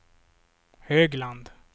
Högland